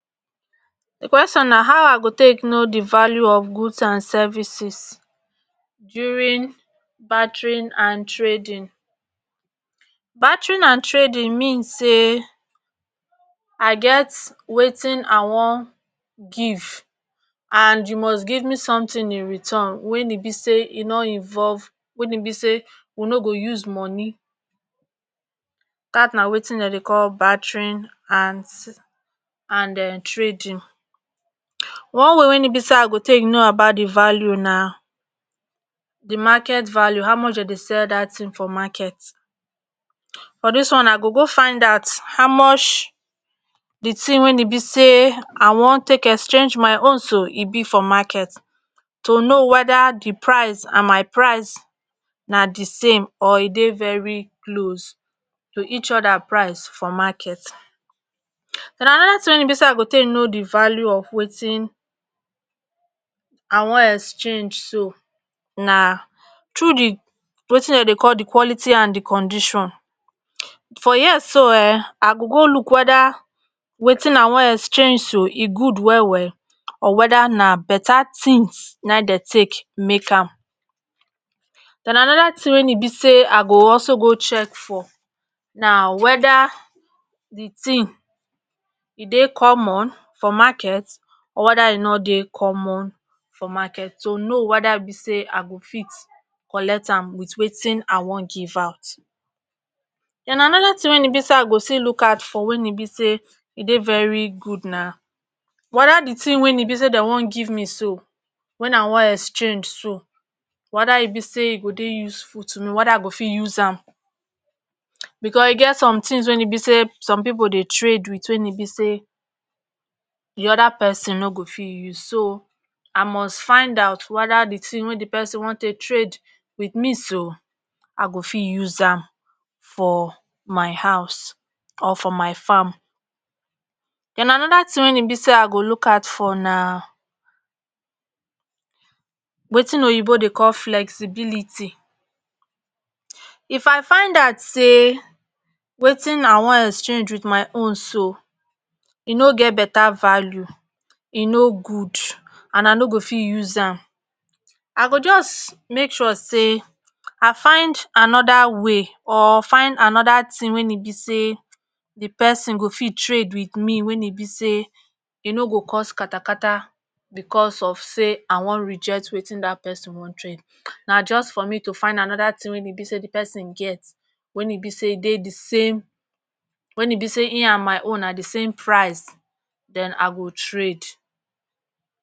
di quetion na how i go take no di value of goods and services during baterin and trading baterin and trading mean say i get wetin i wan give and you must give me sometin in return wen e be say e nor involve weyn be say we no go use money cat na wetin d dey call baterin hans and um trading. one way wen e be say i go take no about di value na di market value how much den dey sell dat tin for market buh dis one i go go find out how much di tin weyn e be say i wan take exchange my own so e be for market to no weda di price and my price na di same or e dey veri close to each oda price for market. den anoda tin weyn e be say i go take no di value of watin i wan exchange to na tru di watin den dey call di quality and di condition. for here so um i go go look weda watin i wan exhange to e good well well or weda na better tin na den take make am, den anoda tin weyn e be say i go also go check for na weda di tin e dey common for market or weda e no dey common for market tu no weda be say i go fit collect am wit watin i wan give out. den anoda tin weyn e be say i go still look out for weyn e be say e dey very gud na weda di tin weyn e be say den wan give me so wen i wan exchange to weda e be say e go dey useful tu me weda i go fit use am bcos e get som tins weyn e be say som pipo dey trade wit wen e be say di oda pesin no go fit use so i must find out weda di tin wey di person wan take trade wit me so i go fit use am for my house or for my farm. den anoda tin weyn e be say i go look out for na watin oyibo dey call flexibility, if i find out say watin i wan exchange wit my own so e no get better value e no go and i no fit use am i go just make sure say i find anoda way or find anoda tin weyn e be say di person go fit trade wit me weyn e be say e no go cause katakata bcos of say i wan reject watin dat person wan trade, na just for me to find anoda tin weyn e be say di pesin get wen e be say dey di same weyn e be say hin ah my own na d sam price den i go trade